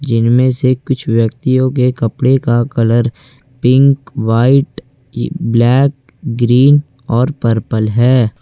जिनमे से कुछ व्यक्तियों के कपड़े का colour pink white black green और पर्पल है।